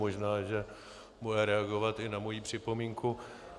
Možná že bude reagovat i na moji připomínku.